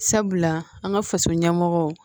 Sabula an ka faso ɲɛmɔgɔ